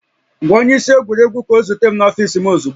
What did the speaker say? Gwa onye isi egwuregwu ka ọ zute m n'ọfiisi m ozugbo